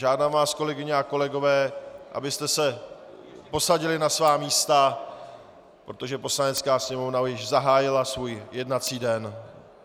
Žádám vás, kolegyně a kolegové, abyste se posadili na svá místa, protože Poslanecká sněmovna již zahájila svůj jednací den.